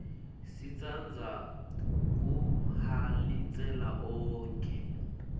sitsandza kuhalalisela onkhe